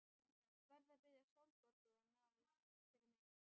Verð að biðja Sólborgu að ná í það fyrir mig.